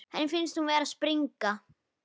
Henni finnst hún vera að springa.